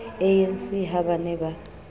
anc ha ba ne ba